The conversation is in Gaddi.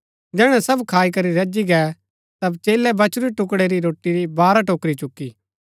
जैहणै सब खाई करी रजी गै ता चेलै बचुरी टुकड़ै री रोटी री बारह टोकरी चुकी